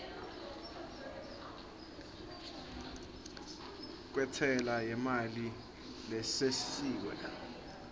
kwentsela yemali lesisiwe